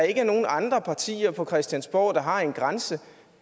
ikke er nogen andre partier på christiansborg der har en grænse